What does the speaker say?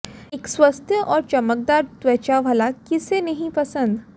एक स्वस्थ और चमकदार त्वचा भला किसे नहीं पसंद